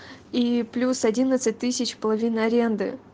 и плюс одиннадцать тысяч половину арены